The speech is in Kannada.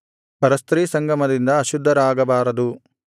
ಪರಸ್ತ್ರೀ ಸಂಗಮದಿಂದ ಅಶುದ್ಧರಾಗಬಾರದು